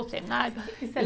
O cenário.